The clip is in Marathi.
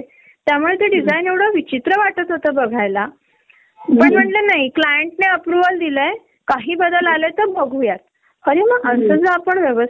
तर प्रसंगी मूल पाळणाघरामद्धे सुद्धा विषय अवघड होतो. आता सहाचा पिकअप टाइम असतो पाळणाघरामध्ये आपण पाळणाघरच्या मावशिना रिक्वेस्ट करून सात पर्यन्त टाळू शकतो ग पण त्यांना पन आपले घर, दार